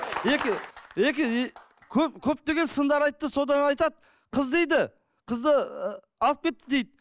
екі екі и көп көптеген сындар айтты содан айтады қыз дейді қызды ыыы алып кетті дейік